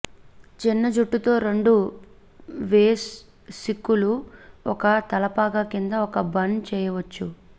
చిన్న జుట్టు తో రెండు వేస్ సిక్కులు ఒక తలపాగా కింద ఒక బన్ చేయవచ్చు